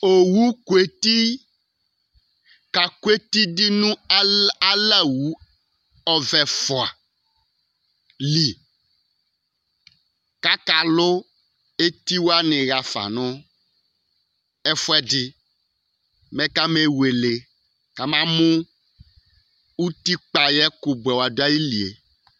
owu kò eti kakò eti di no ala wu ɔvɛ ɛfua li k'aka lò eti wani ɣa fa no ɛfuɛdi mɛ kame wele kama mo utikpa ayi ɛkò boɛ wa do ayili yɛ